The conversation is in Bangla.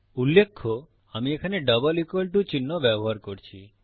উল্লেখ্য আমি এখানে ডাবল ইকুয়াল টু চিহ্ন ব্যবহার করছি